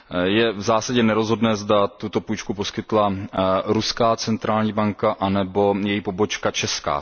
Je v zásadě nerozhodné, zda tuto půjčku poskytla Ruská centrální banka nebo její pobočka česká.